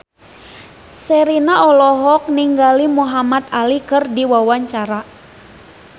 Sherina olohok ningali Muhamad Ali keur diwawancara